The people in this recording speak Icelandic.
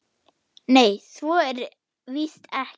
Nei, svo er víst ekki.